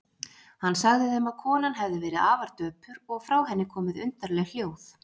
Hann sagði þeim að konan hefði verið afar döpur og frá henni komið undarleg hljóð.